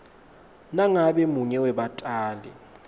nangabe munye webatali